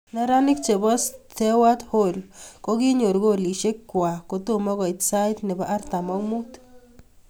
Neranik che bo Stewart Hall kokinyoru kolishe kwak kotomo koit sait ne bo artam ak muut.